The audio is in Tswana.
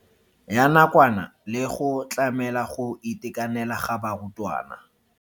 Ya nakwana le go tlamela go itekanela ga barutwana.